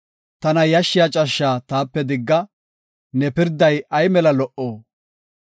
Tana yashshiya cashsha taape digga; ne pirday ay mela lo77o!